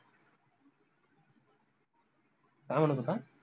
काय म्हनत होता?